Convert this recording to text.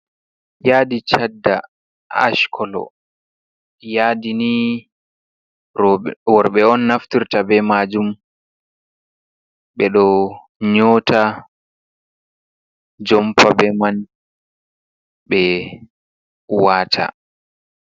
Yaadi shadda ash kolo. Yaadi ni rowɓe, worɓe on naftirta be maajum. Ɓe ɗo nyota jompa be man, ɓe waata.